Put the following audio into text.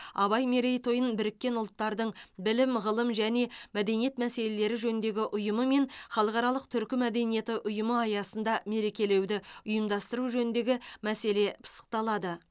абай мерейтойын біріккен ұлттардың білім ғылым және мәдениет мәселелері жөніндегі ұйымы мен халықаралық түркі мәдениеті ұйымы аясында мерекелеуді ұйымдастыру жөніндегі мәселе пысықталады